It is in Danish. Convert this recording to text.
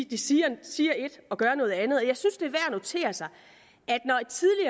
de siger ét og gør noget andet jeg synes det er notere sig